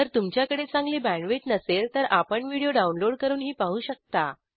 जर तुमच्याकडे चांगली बॅण्डविड्थ नसेल तर आपण व्हिडिओ डाउनलोड करूनही पाहू शकता